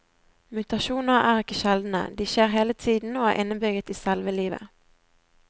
Mutasjoner er ikke sjeldne, de skjer hele tiden og er innebygget i selve livet.